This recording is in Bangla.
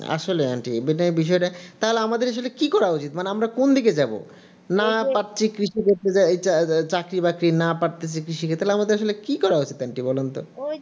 আসলে aunty বিষয়টা তাহলে আমাদের কি করা উচিত আমরা কোন দিকে যাব না করতে পারছি কিছু চাকরি বাকরি না পারছি কৃষি কাজ করতে তাহলে আমাদের কি করা উচিত aunty বলেন তো